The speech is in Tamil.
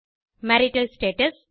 marital status